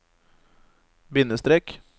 bindestrek